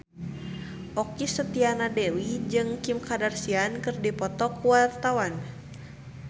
Okky Setiana Dewi jeung Kim Kardashian keur dipoto ku wartawan